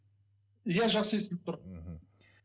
иә жақсы естіліп тұр мхм